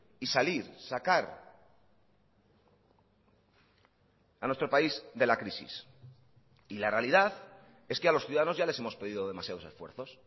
y salir sacar a nuestro país de la crisis y la realidad es que a los ciudadanos ya les hemos pedido demasiados esfuerzos